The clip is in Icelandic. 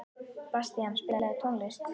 Bastían, spilaðu tónlist.